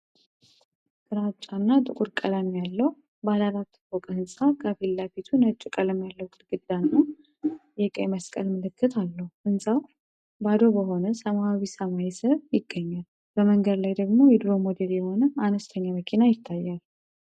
ግራጫና ጥቁር ቀለም ያለው ባለአራት ፎቅ ህንፃ ከፊት ለፊቱ ነጭ ቀለም ያለው ግድግዳና የቀይ መስቀል ምልክት አለው። ህንፃው ባዶ በሆነ ሰማያዊ ሰማይ ስር ይገኛል፤ በመንገድ ላይ ደግሞ የድሮ ሞዴል የሆነ አነስተኛ መኪና ይታያል።